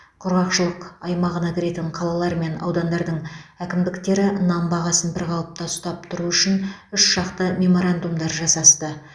құрғақшылық аймағына кіретін қалалар мен аудандардың әкімдіктері нан бағасын бір қалыпта ұстап тұру үшін үшжақты меморандумдар жасасты